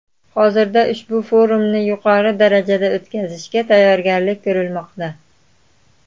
Hozirda ushbu forumni yuqori darajada o‘tkazishga tayyorgarlik ko‘rilmoqda.